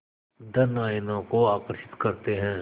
धन आयनों को आकर्षित करते हैं